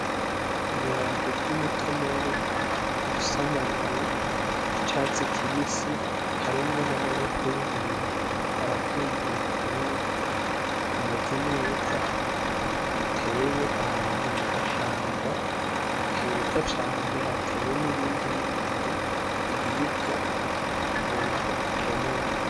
Ibiharage vy'umutonore bifise amababi y'icatsi kibisi harimwo n'amaboko y'umuntu ariko aravyumviriza yuko bimeze neza biteye ahantu mugashamba heza cane hateye n'ibindi bindi biribwa umuntu akenera.